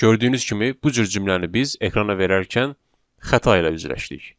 Gördüyünüz kimi bu cür cümləni biz ekrana verərkən xəta ilə üzləşdik.